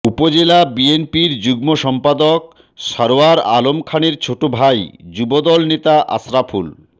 উপজেলা বিএনপির যুগ্ম সম্পাদক সরোয়ার আলম খানের ছোটভাই যুবদল নেতা আশরাফুল